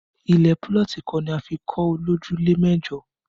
Ilẹ̀ púlọ̀tì kan ni a fi kọ́ ilé olójúlé mẹ́jọ